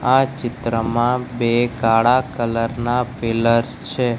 આ ચિત્રમાં બે કાળા કલર ના પિલર છે.